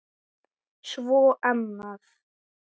Svo annað.